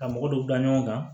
Ka mɔgɔ dɔ bila ɲɔgɔn kan